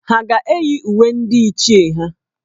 Ha ga-eyi uwe ndị Ichie ha?